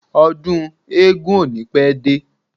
Ọdún eégún ò ní pẹ́ dé.